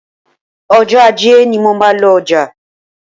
Ọjọ́ Ajé ni mo máa ń lọ ọjà